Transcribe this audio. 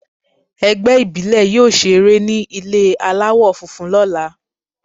Ẹgbẹ́ ìbílè yóò ṣe eré ní ilé aláwọ̀ funfun lọ́la.